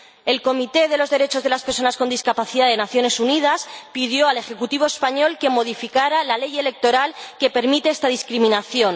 El Comité sobre los Derechos de las Personas con Discapacidad de las Naciones Unidas pidió al ejecutivo español que modificará la ley electoral que permite esta discriminación.